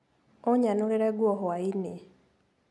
Ũnyanũrĩre nguo hwainĩ.